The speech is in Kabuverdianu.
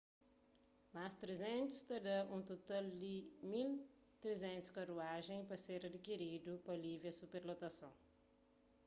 más 300 ta dá un total di 1.300 karuajen pa ser adikiridu pa alivia superlotason